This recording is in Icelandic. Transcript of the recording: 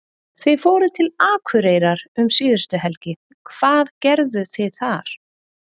Þið fóruð til Akureyrar um síðustu helgi, hvað gerðuð þið þar?